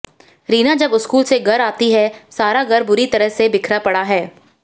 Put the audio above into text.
रीना जब स्कूल से घर आती हैं सारा घर बुरी तरह से बिखरा पड़ा है